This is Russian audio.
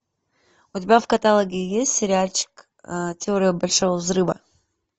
у тебя в каталоге есть сериальчик теория большого взрыва